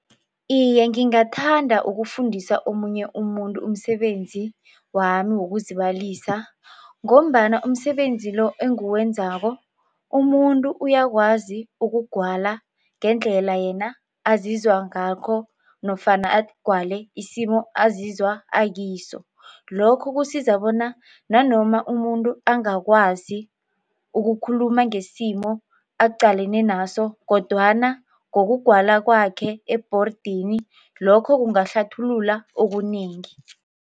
Iye, ngingathanda ukufundisa omunye umuntu umsebenzi wami wokuzibalisa ngombana umsebenzi lo enguwenzako umuntu uyakwazi ukugwala ngendlela yena azizwa ngakho nofana agwale isimo azizwa akiso, lokho kusiza bona nanoma umuntu angakwazi ukukhuluma ngesimo aqalene naso kodwana ngokugwala kwakhe ebhordini lokho kungahlathulula okunengi.